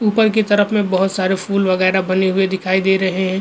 ऊपर की तरफ में बहुत सारे फूल वगैरह बने हुए दिखाई दे रहे हैं।